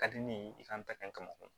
Ka di ne ye i kan ka kɛ mɔgɔ ye